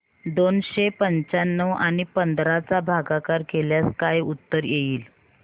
दोनशे पंच्याण्णव आणि पंधरा चा भागाकार केल्यास काय उत्तर येईल